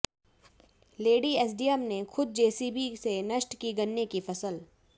lady SDM ने खुद JCB से नष्ट की गन्ने की फसल